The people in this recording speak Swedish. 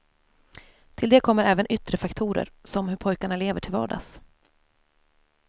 Till det kommer även yttre faktorer som hur pojkarna lever till vardags.